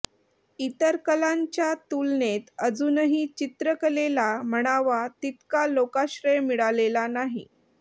इतर कलांच्या तुलनेत अजूनही चित्रकलेला म्हणावा तितका लोकाश्रय मिळालेला नाही